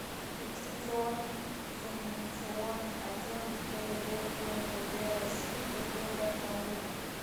регистрационно экзаменационный отдел гибдд умвд россии по г барнаулу